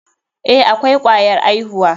Eh, akwai kwayar aihuwa.